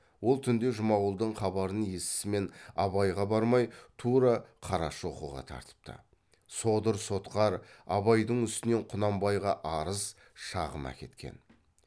ол түнде жұмағұлдың хабарын есісімен абайға бармай тура қарашоқыға тартыпты содыр сотқар абайдың үстінен құнанбайға арыз шағым әкеткен